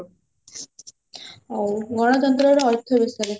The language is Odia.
ହଉ ଗଣତନ୍ତ୍ର ର ଅର୍ଥ ବିଷୟରେ